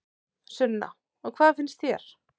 Sunna: Og hvað finnst þér?